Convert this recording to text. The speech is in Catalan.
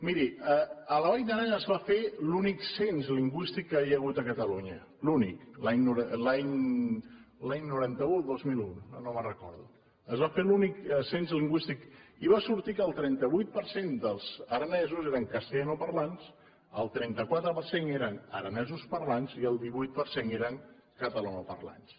miri a la vall d’aran es va fer l’únic cens lingüístic que hi ha hagut a catalunya l’únic l’any noranta un o el dos mil un ara no me’n recordo es va fer l’únic cens lingüístic i va sortir que el trenta vuit per cent dels aranesos eren castellanoparlants el trenta quatre per cent eren aranesoparlants i el divuit per cent eren catalanoparlants